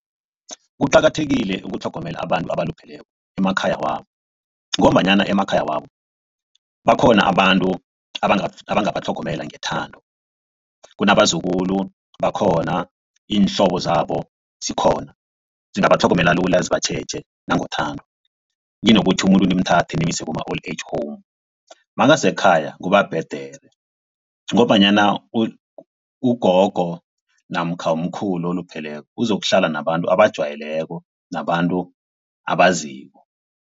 Kuqakathekile ukutlhogomela abantu abalupheleko emakhaya wabo. Ngombanyana emakhaya wabo bakhona abantu abangabatlhogomela ngethando. Kunabazukulu bakhona, iinhlobo zabo zikhona, zingabatlhogomela lula zibatjheje nangothando. Kunokuthi umuntu nimthathe nimuse kuma-old age home makasekhaya kubhedere ngombanyna ugogo namkha umkhulu olupheleko uzokuhlala nabantu abajwayeleko nabantu abaziko.